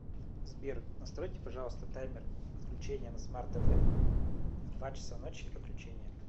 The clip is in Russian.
сбер настройте пожалуйста таймер отключения на смарт тв в два часа ночи отключение